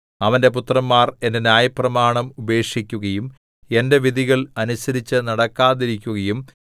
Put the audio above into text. അവന്റെ പുത്രന്മാർ എന്റെ ന്യായപ്രമാണം ഉപേക്ഷിക്കുകയും എന്റെ വിധികൾ അനുസരിച്ചുനടക്കാതിരിക്കുകയും